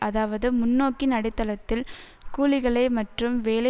அதாவது முன்நோக்கின் அடித்தளத்தில் கூலிகளை மற்றும் வேலை